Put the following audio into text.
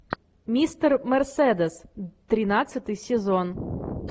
мистер мерседес тринадцатый сезон